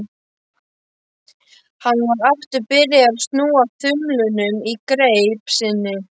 Hann var aftur byrjaður að snúa þumlunum í greip sinni.